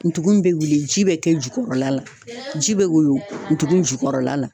Ndugun bɛ wili ji bɛ kɛ jukɔrɔla la ji bɛ woyo ntugun jukɔrɔla la.